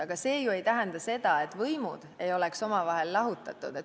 Aga see ei tähenda ju seda, et võimud ei oleks omavahel lahutatud.